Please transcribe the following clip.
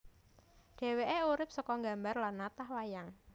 Dhèwèké urip seka nggambar lan natah wayang